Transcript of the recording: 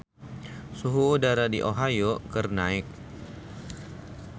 Suhu udara di Ohio keur naek